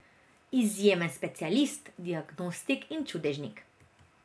Izjemen specialist, diagnostik in čudežnik.